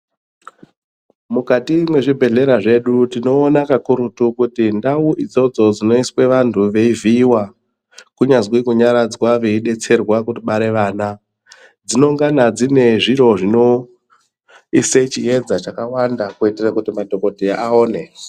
Mukati mezvibhedhlera zvedu tinoona kakurutu kuti ndau idzodzo dzinoiswa vantu veivhiiwa, kunyazwi kunyaradzaa veidetserwa kubare vana. Dzinongana dzine zviro zvinoisa chiedza chakawanda kuitire kuti madhokodheya aone.